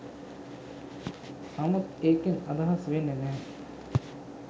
නමුත් ඒකෙන් අදහස් වෙන්නෙ නැහැ